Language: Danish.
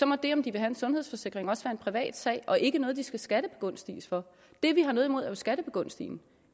må det om de vil have en sundhedsforsikring også være en privatsag og ikke noget de skal skattebegunstiges for det vi har noget imod er at skattebegunstige dem